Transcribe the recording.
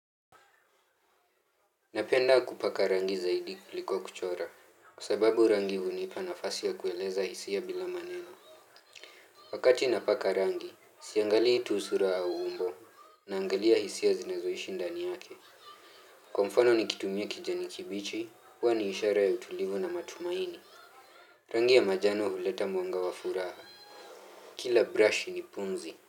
Napenda kupaka rangi zaidi kuliko kuchora kwa sababu rangi hunipa nafasi ya kueleza hisia ya bila maneno. Wakati napaka rangi siangalii tu sura au umbo. Naangalia hisia zinazoishi ndani yake. Kwa mfano nikitumia kijani kibichi huwa ni ishara ya utulivu na matumaini. Rangi ya manjano huleta mwanga wa furaha. Kila brush ni pumzi.